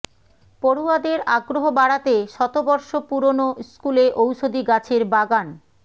পড়ুয়াদের আগ্রহ বাড়াতে শতবর্ষ পুরনো স্কুলে ঔষধি গাছের বাগান